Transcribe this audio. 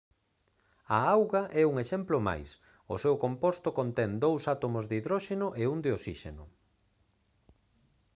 a auga é un exemplo máis o seu composto contén dous átomos de hidróxeno e un de osíxeno